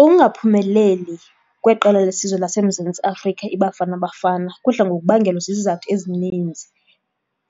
Ukungaphumeleli kweqela lesizwe laseMzantsi Afrika iBafana Bafana kudla ngokubangelwa zizizathu ezininzi